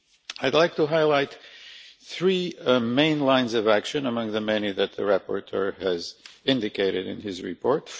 I would like to highlight three main lines of action among the many that the rapporteur has indicated in his report.